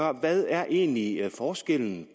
er hvad er egentlig forskellen